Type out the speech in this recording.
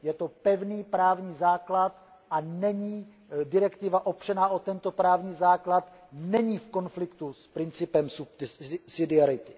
Je to pevný právní základ a direktiva opřená o tento právní základ není v konfliktu s principem subsidiarity.